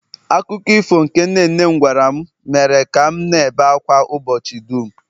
akụkọ ifo nke nne nne m gwara m mere ka m na-ebe ákwá ụbọchị dum